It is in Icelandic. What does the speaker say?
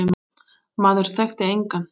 Maður þekkti engan.